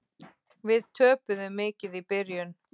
Við töpuðum mikið í byrjun.